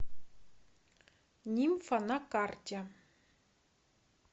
нимфа на карте